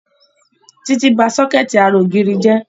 Títí ba sọ́kẹ̀tì ara ògiri jẹ́